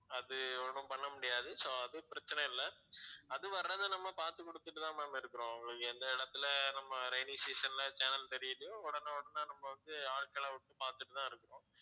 அது ஒண்ணும் பண்ண முடியாது so அது பிரச்சனை இல்ல அது வர்றத நம்ம பார்த்து குடுத்துட்டு தான் ma'am இருக்குறோம் அவங்களுக்கு எந்த இடத்தில நம்ம rainy season ல channel தெரியலையோ உடனே உடனே நம்ம வந்து ஆட்களை விட்டு பார்த்துட்டு தான் இருக்குறோம்